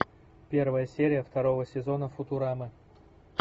первая серия второго сезона футурамы